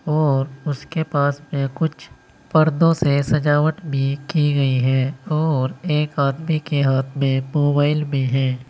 और उसके पास में कुछ पर्दों से सजावट भी की गई है और एक आदमी के हाथ में मोबाइल भी है।